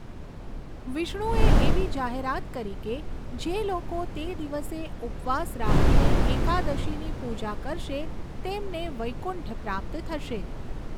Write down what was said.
વિષ્ણુએ એવી જાહેરાત કરી કે જે લોકો તે દિવસે ઉપવાસ રાખીને એકાદશીની પૂજા કરશે તેમને વૈકુંઠ પ્રાપ્ત થશે.